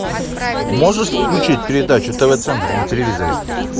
можешь включить передачу тв центр на телевизоре